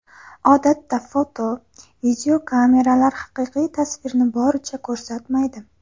Odatda foto, videokameralar haqiqiy tasvirni boricha ko‘rsatmaydi.